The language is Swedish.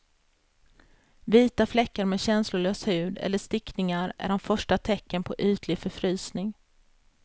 Vita fläckar med känslolös hud eller stickningar är de första tecknen på ytlig förfrysning.